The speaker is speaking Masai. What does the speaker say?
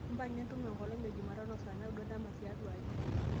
impanga entumo enkolong e jumatano saa naudo dama tiatua aji